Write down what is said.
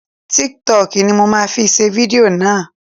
Tiktọkì ni mo ma fi ṣe fidió náà.